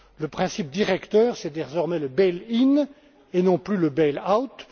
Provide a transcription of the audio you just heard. Le principe directeur, c'est désormais le bail in et non plus le bail